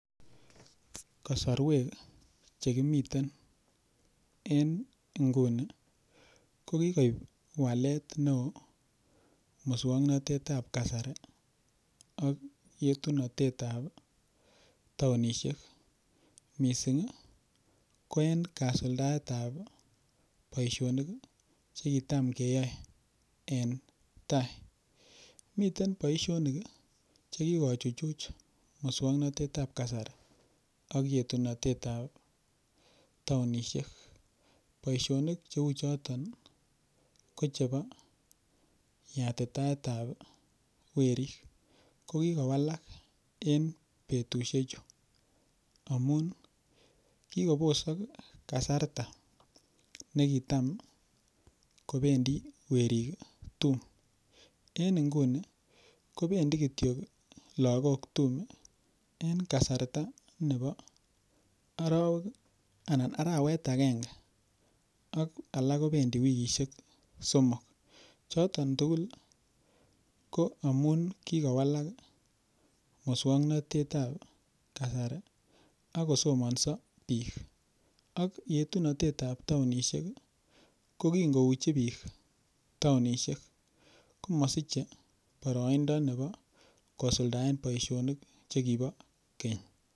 kosorweek chegimiten en inguni kogigoib waleet neoo muswoknotetab kasari ak yetunoteet ab taonishek mising iih koen kasuldaet ab baisonik chegitam keyoe en taai, miten boishonik iih chegigochuchuj muswoknotetab kasari ak yetunotete ab taonishek boiashonik cheuu choton iih kochebo yatitaet ab werrik ko kigowalak en betushechu amuun iih kigobosok kasarta negitam kobendii weriik tuum, en inguni kobendii kityok lagook tum en kasarta nebo orowek anan araweet agenge ak alak kobendii wikishek somok, choton tugul iih ko amuun kigowalak muswoknotet ab kasari ak kosomonso biik ak yetunotet ab taonishek iih ko kinkouchi biik taonishek komosiche boroindo nebo kosuldaen boishonik chegibo keny.